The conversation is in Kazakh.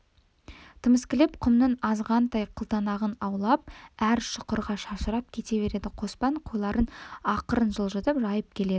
тіміскілеп құмның азғантай қылтанағын аулап әр шұқырға шашырап кете береді қоспан қойларын ақырын жылжытып жайып келеді